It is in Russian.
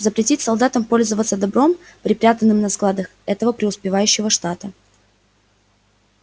запретить солдатам пользоваться добром припрятанным на складах этого преуспевающего штата